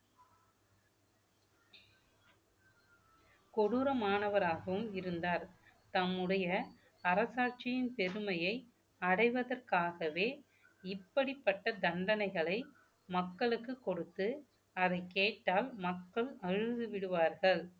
கொடூரமானவராகவும் இருந்தார் தம்முடைய அரசாட்சியின் பெருமையை அடைவதற்காகவே இப்படிப்பட்ட தண்டனைகளை மக்களுக்கு கொடுத்து அதை கேட்டால் மக்கள் அழுதுவிடுவார்கள்